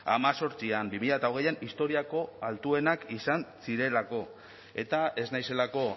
hemezortzian bi mila hogeian historiako altuenak izan zirelako eta ez naizelako